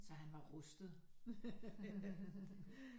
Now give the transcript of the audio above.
Så han var rustet